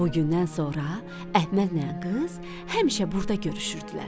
Bu gündən sonra Əhmədlə qız həmişə burda görüşürdülər.